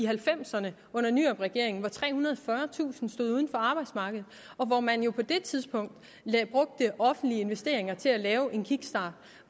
halvfems ’erne under nyrupregeringen hvor trehundrede og fyrretusind stod uden for arbejdsmarkedet og hvor man jo på det tidspunkt brugte offentlige investeringer til at lave en kickstart